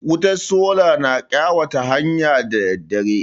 Wutar sola na ƙayatar da hanya da daddare.